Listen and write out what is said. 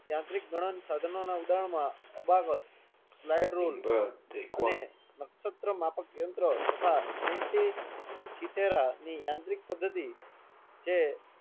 યાંત્રિક ગણત્રીનાં સાધનો ના ઉધારણ માં સ્લીદેરુલે અને નક્ષત્ર માપક યંત્ર તથા આંટી યાંત્રિક પદ્ધતિ જે